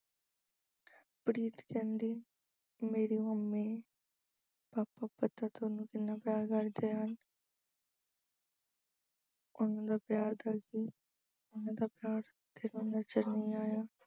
ਪ੍ਰੀਤ ਕਹਿੰਦੀ mummy papa ਪਤਾ ਤੁਹਾਨੂੰ ਕਿੰਨਾ ਪਿਆਰ ਕਰਦੇ ਹਨ ਉਹਨਾਂ ਦਾ ਪਿਆਰ ਉਹਨਾਂ ਦਾ ਪਿਆਰ ਤੁਹਾਨੂੰ ਨਜ਼ਰ ਨਹੀਂ ਆਇਆ।